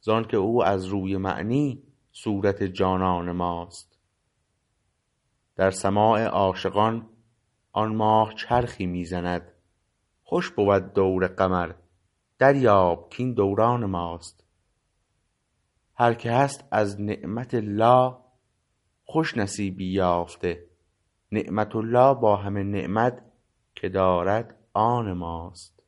زانکه او از روی معنی صورت جانان ماست در سماع عاشقان آن ماه چرخی می زند خوش بود دور قمر دریاب کاین دوران ماست هر که هست از نعمةالله خوش نصیبی یافته نعمت الله با همه نعمت که دارد آن ماست